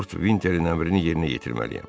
Lord Vinterin əmrini yerinə yetirməliyəm.